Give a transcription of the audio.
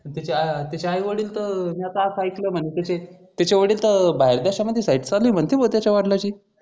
अन त्याचे आई वडील तर म्या तर अस आयकल म्हणजे त्याचे वडील तर बाहेर देशात मध्ये साहिस्याण आहे म्हणते बा त्याच्या वडलची